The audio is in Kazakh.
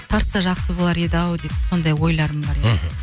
тарса жақсы болар еді ау деп сондай ойларым бар еді мхм